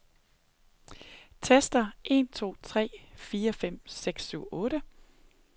Tester en to tre fire fem seks syv otte.